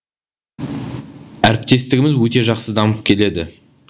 әріптестігіміз өте жақсы дамып келеді